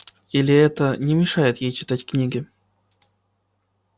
или это не мешает ей читать книги